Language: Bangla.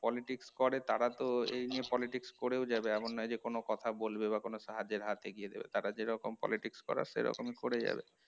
politics করে তারা তো এই নিয়ে politics করেও যাবে এমন নয় যে কোন কথা বলবে বা কোন সাহায্যের হাত এগিয়ে দেবে তারা যেরকম politics করার সেরকমই করে যাবে